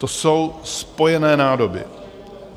To jsou spojené nádoby.